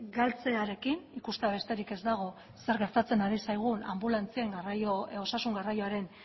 galtzearekin ikustea besterik ez dago zer gertatzen ari zaigun anbulantzien osasun garraioaren